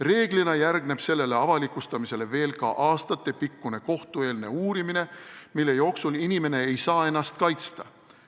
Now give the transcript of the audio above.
Reeglina järgneb sellele avalikustamisele veel ka aastatepikkune kohtueelne uurimine, mille jooksul inimene ei saa ennast kaitsta.